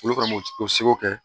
Olu kana o seko kɛ